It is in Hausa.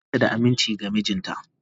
Fati bata da aminci ga mijinta.